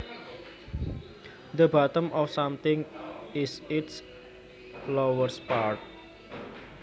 The bottom of something is its lowest part